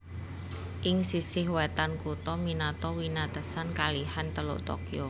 Ing sisih wetan kutha Minato winatesan kalihan Teluk Tokyo